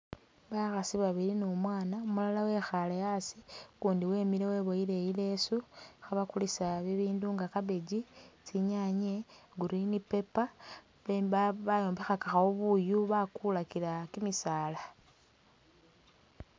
Bakhasi babili numwana, umulala wekhale a'asi ukundi wemile weboyile i'leso khabakulisa bibindu nga cabbage, tsinyanye, green pepper bemba bayombekhakakhawo buyu bakulila kimisaala